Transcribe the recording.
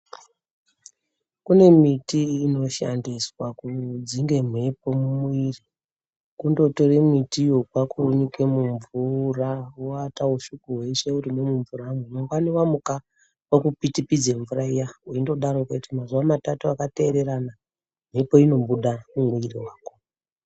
Kune miti ino shandiswa kudzinge mhepo mu mwiri kundo tore mitiyo kwaku unyike mu mvura woata ushiku hweshe urimwo mu mvura mwo mangwani wa muka woku pitipidze mvura iya weindo darokwo kuti mazuva matatu aka teererana mhepo ino buda mu mu mwiri mako.